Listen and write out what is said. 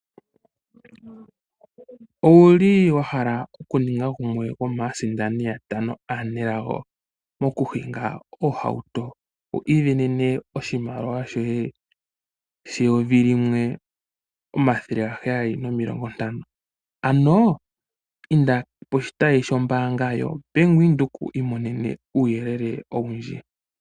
Owu li wa hala okuninga gumwe gwomaasindani yatano aanelago mo ku hinga ohauto . Wu isindanene oshimaliwa shoye sheyovi limwe ,omathele gaheyali nomilongo ntano . Ano inda poshitayi shombaanga yoBank Windhoek wu imonene mo uuyelele owundji.